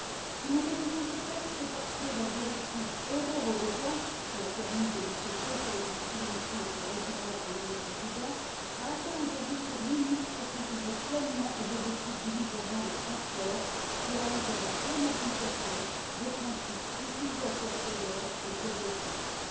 Si nous révisons ce texte, c'est parce que la directive Euro redevance, qui a permis de lutter contre les discriminations entre résidents et non résidents, a atteint aujourd'hui ses limites pour ce qui est de contribuer pleinement aux objectifs du livre blanc des transports d'aller vers la pleine application des principes utilisateur payeur et pollueur payeur.